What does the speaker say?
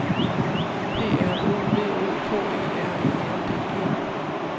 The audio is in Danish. P R O V O K E R E N D E